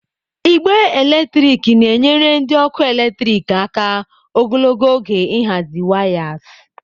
Igbe eletrik na-enyere ndị ọkụ eletrik aka ogologo oge ịhazi wayas.